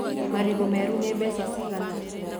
Marĩgũ meru nĩ mbeca cigana.